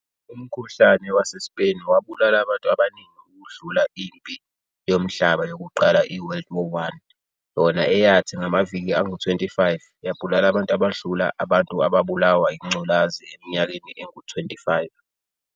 Umkhuhlane wase-Spain wabulala abantu abaningi ukudlula impi yomhlaba yokuqala i-World War I yona eyathu ngamaviki angu-25 yabulala abantu abadlula abantu abalulawa ingculazi eminyakeni engu-25.